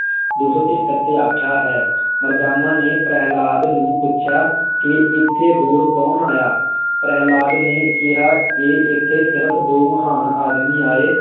ਦੋ ਸੌ ਤਹੇਤਰ ਤੇ ਆਖਿਆ ਹੈ ਮਰਦਾਨਾ ਨੇ ਪ੍ਰਹਿਲਾਦ ਨੂੰ ਪੁੱਛਿਆ ਕਿ ਇਥੇ ਹੋਰ ਕੌਣ ਆਇਆ ਪ੍ਰਹਿਲਾਦਾ ਨੇ ਕਿਹਾ ਕਿ ਇੱਥੇ ਸਿਰਫ ਦੋ ਮਹਾਨ ਆਦਮੀ ਆਏ